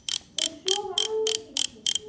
Og sofa allt of mikið.